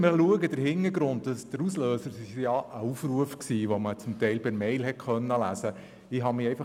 Der Auslöser für diesen Vorstoss war ein Aufruf, den man teilweise auch per E-Mail erhalten hat.